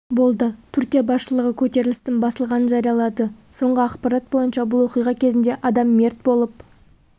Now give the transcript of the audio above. болды түркия басшылығы көтерілістің басылғанын жариялады соңғы ақпарат бойынша бұл оқиға кезінде адам мерт болып